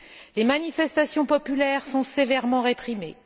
Les manifestations populaires sont sévèrement réprimées.